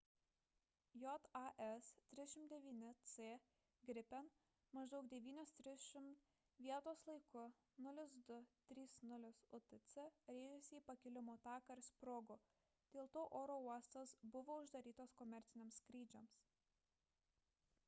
jas 39c gripen maždaug 9:30 val. vietos laiku 0230 utc rėžėsi į pakilimo taką ir sprogo; dėl to oro uostas buvo uždarytas komerciniams skrydžiams